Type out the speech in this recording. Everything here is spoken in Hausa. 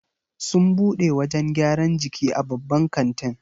Sun bude wajan gyran jiki a babban katin